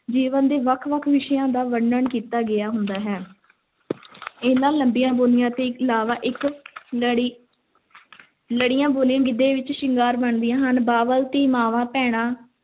ਜੀਵਨ ਦੇ ਵੱਖ-ਵੱਖ ਵਿਸ਼ਿਆਂ ਦਾ ਵਰਨਣ ਕੀਤਾ ਗਿਆ ਹੁੰਦਾ ਹੈ ਇਹਨਾਂ ਲੰਮੀਆਂ ਬੋਲੀਆਂ ਤੋਂ ਇਲਾਵਾ ਇੱਕ ਲੜੀ ਲੜੀਆਂ ਬੋਲੀਆਂ ਗਿੱਧੇ ਵਿੱਚ ਸ਼ਿੰਗਾਰ ਬਣਦੀਆਂ ਹਨ, ਬਾਬਲ, ਧੀ, ਮਾਂਵਾਂ, ਭੈਣਾਂ,